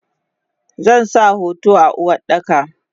Zansa hoton a Uwardaka.